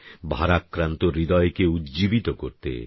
ভারাক্রান্ত হৃদয়কে উজ্জ্বীবিত করতে